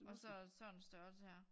Og så sådan en størrelse her